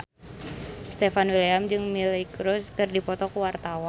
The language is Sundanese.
Stefan William jeung Miley Cyrus keur dipoto ku wartawan